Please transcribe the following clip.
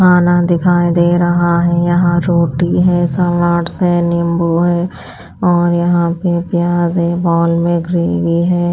खाना दिखाई दे रहा है यहाँ रोटी है सालाड्स है नींबू है और यहाँ पे प्याज है बॉल में ग्रेवी है।